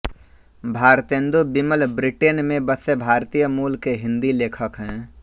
Bharatendu Vimal Britain मे बसे भारतीय मूल के हिंदी लेखक है